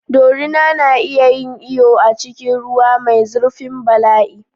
Dorina na iya yin iyo a cikin ruwa mai zurfin bala'i.